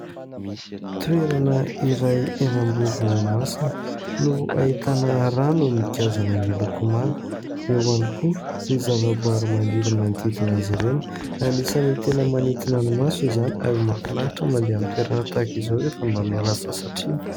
Toerana iray eny amoron-dranomasina no ahitana rano migazana miloko manga, eo ihany koa ny zavaboary maniry manodidina azy ireo, anisany tena manintona ny maso izany ary mahafinaritra mandeha amin'ny toerana tahaka izao rehefa mba miala sasatra iny.